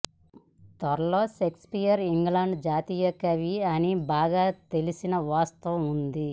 త్వరలో Shakespeare England జాతీయ కవి అని బాగా తెలిసిన వాస్తవం ఉంది